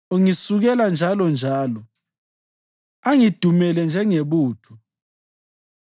Ungisukela njalonjalo; angidumele njengebutho.